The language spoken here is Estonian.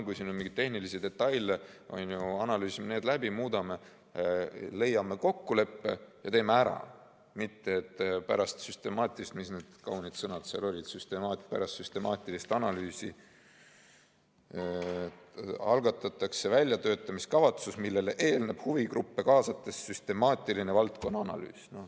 Kui on mingeid tehnilisi detaile, siis analüüsime need läbi, muudame, leiame kokkuleppe ja teeme ära, mitte et pärast süstemaatilist – ja mis need kaunid sõnad seal olid – analüüsi algatatakse väljatöötamiskavatsus, millele eelneb huvigruppe kaasates süstemaatiline valdkonna analüüs.